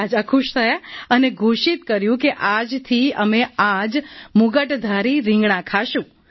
રાજા ખુશ થયા અને ઘોષિત કર્યું કે આજથી અમે આ જ મુગટધારી રિંગણાં ખાશું